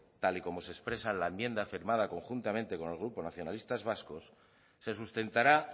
tal y como se expresa la enmienda firmada conjuntamente con el grupo nacionalistas vascos se sustentará